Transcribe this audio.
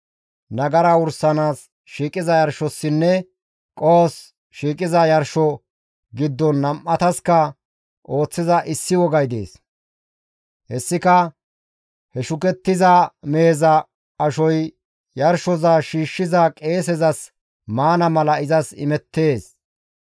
« ‹Nagara wursanaas shiiqiza yarshossinne qohos shiiqiza yarsho giddon nam7ataska ooththiza issi wogay dees; hessika he shukettiza meheza ashoy yarshoza shiishshiza qeesezas maana mala izas imettees.